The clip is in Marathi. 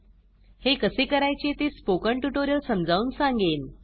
हे कसे करायचे ते स्पोकन ट्युटोरियल समजावून सांगेन